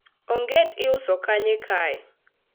onget iuso kanye kae?